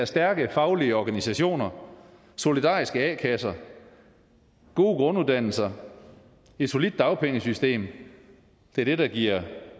stærke faglige organisationer solidariske a kasser gode grunduddannelser et solidt dagpengesystem det er det der giver